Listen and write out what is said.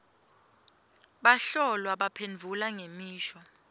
bahlolwa baphendvula ngemisho